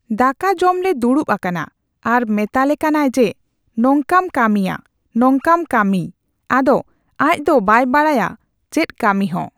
ᱫᱟᱠᱟ ᱡᱚᱢ ᱞᱮ ᱫᱩᱲᱩᱵ ᱟᱠᱟᱱᱟ ᱟᱨ ᱢᱮᱛᱟᱞᱮ ᱠᱟᱱᱟᱭ ᱡᱮ ᱱᱚᱝᱠᱟᱢ ᱠᱟᱹᱢᱤᱭᱟ, ᱱᱚᱝᱠᱟᱢ ᱠᱟᱹᱢᱤᱭ᱾ ᱟᱫᱚ ᱟᱡ ᱫᱚ ᱵᱟᱭ ᱵᱟᱲᱟᱭᱟ ᱪᱮᱫ ᱠᱟᱹᱢᱤ ᱦᱚᱸ᱾